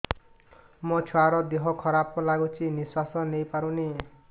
ମୋ ଛୁଆର ଦିହ ଖରାପ ଲାଗୁଚି ନିଃଶ୍ବାସ ନେଇ ପାରୁନି